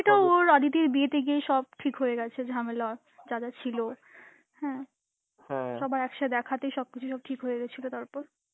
সেটা ওর অদিতির বিয়েতে গিয়েই সব ঠিক হয়ে গেছে ঝামেলা যাদের ছিল, হ্যাঁ. সবার একসাথে খাতেই সব কিছু সব ঠিক হয়ে গেছিল তারপর.